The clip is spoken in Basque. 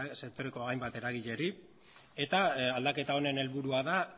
sektoreko hainbat eragileei eta aldaketa honen helburua da